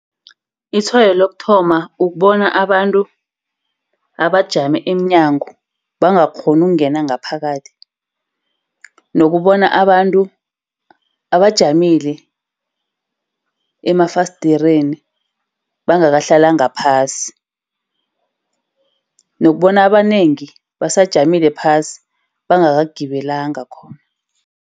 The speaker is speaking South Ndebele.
Itshwayo lokuthoma kubona abantu abajame emnyango bangakghoni ukungena ngaphakathi. Nokubona abantu abajamili emafasdereni bangahlalanga phasi. Nokubona abanengi basajamile phasi, bangakagibelanga khona.